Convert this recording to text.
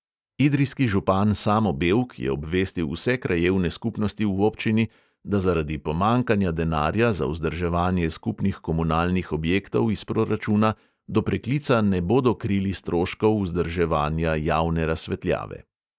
Idrijski župan samo bevk je obvestil vse krajevne skupnosti v občini, da zaradi pomanjkanja denarja za vzdrževanje skupnih komunalnih objektov iz proračuna do preklica ne bodo krili stroškov vzdrževanja javne razsvetljave.